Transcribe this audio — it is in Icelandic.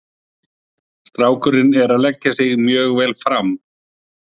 Strákurinn er að leggja sig mjög vel fram.